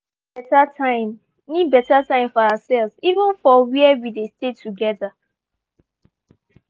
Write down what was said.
we all need beta time need beta time for ourselves even for where we dey stay together.